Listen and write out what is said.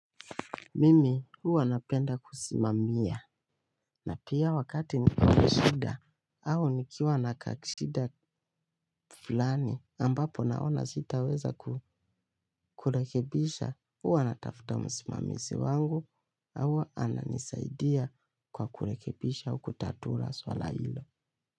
Mimi huwa napenda kusimamia na pia wakati nikonashida au nikiwa nakashida fulani ambapo naona sitaweza kurekebisha huwa natafuta msimamizi wangu au ananisaidia kwa kurekebisha au kutatula swala hilo.